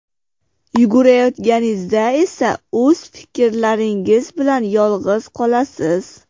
Yugurayotganingizda esa o‘z fikrlaringiz bilan yolg‘iz qolasiz.